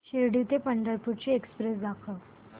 शिर्डी ते पंढरपूर ची एक्स्प्रेस दाखव